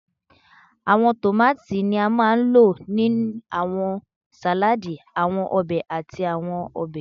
Awọn tomati ni a maa n lo ni awọn saladi, awọn obe, ati awọn ọbẹ